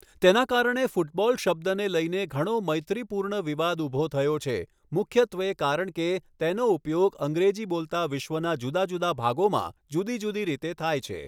તેના કારણે ફૂટબોલ શબ્દને લઈને ઘણો મૈત્રીપૂર્ણ વિવાદ ઊભો થયો છે, મુખ્યત્વે કારણ કે તેનો ઉપયોગ અંગ્રેજી બોલતા વિશ્વના જુદા જુદા ભાગોમાં જુદી જુદી રીતે થાય છે.